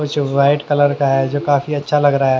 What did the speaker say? कुछ white colour का है जो काफी अच्छा लग रहा है।